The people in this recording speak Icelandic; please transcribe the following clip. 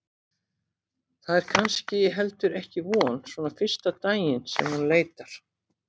Það er kannski heldur ekki von svona fyrsta daginn sem hún leitar.